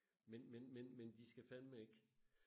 men men men men de skal fandme ikke